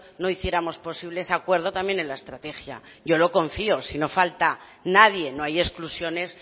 no hiciéramos posible ese acuerdo también en la estrategia yo lo confío si no hace falta nadie no hay exclusiones